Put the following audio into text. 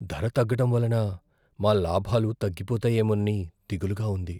ధర తగ్గడం వలన మా లాభాలు తగ్గిపోతాయేమోనని దిగులుగా ఉంది.